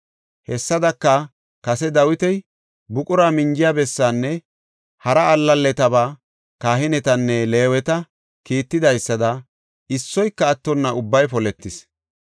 Hessadaka, kase Dawiti buqura minjiya bessaanne hara allaletaba kahinetanne Leeweta kiittidaysada issoyka attonna ubbay poletis.